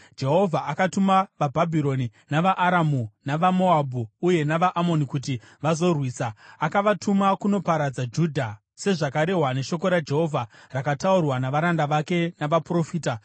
Jehovha akatuma vaBhabhironi navaAramu navaMoabhu uye navaAmoni kuti vazorwisa. Akavatuma kunoparadza Judha, sezvakarehwa neshoko raJehovha rakataurwa navaranda vake navaprofita.